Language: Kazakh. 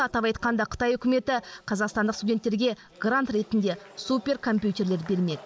атап айтқанда қытай үкіметі қазақстандық студенттерге грант ретінде суперкомпьютерлер бермек